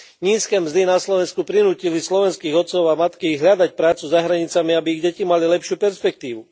Nízke mzdy na Slovensku prinútili slovenských otcov a matky hľadať prácu za hranicami, aby ich deti mali lepšiu perspektívu.